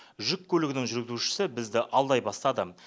жүк көлігінің жүргізушісі бізді алдай бастады